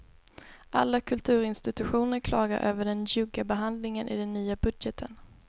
Alla kulturinstitutioner klagar över den njugga behandlingen i den nya budgeten.